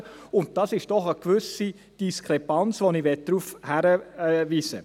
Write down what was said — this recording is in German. Dies ist doch eine gewisse Diskrepanz, auf die ich hinweise.